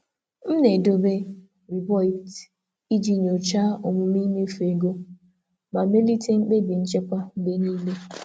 M na-edobe akwụkwọ nnabata iji nyochaa àgwụ mmefu ma mee ka mkpebi nchekwa dị nchekwa dị mma mgbe niile.